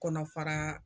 Kɔnɔfara